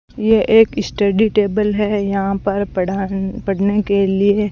ये एक study table है यहां पर पढ़ान पढ़ने के लिए--